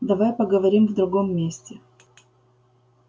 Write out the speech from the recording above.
давай поговорим в другом месте